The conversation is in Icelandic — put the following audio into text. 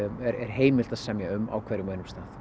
er heimilt að semja um á hverjum og einum stað